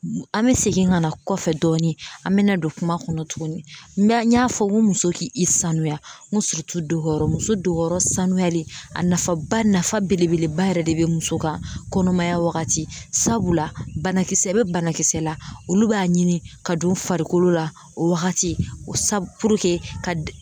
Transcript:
An bɛ segin ka na kɔfɛ dɔɔni an bɛ na don kuma kɔnɔ tuguni n y'a fɔ n ko muso k'i sanuya n ko dogoyɔrɔ muso dogoyɔrɔ sanuyali a nafaba nafa belebeleba yɛrɛ de bɛ muso kan kɔnɔmaya wagati sabula banakisɛ bɛ banakisɛ la olu b'a ɲini ka don farikolo la o wagati sabu puruke ka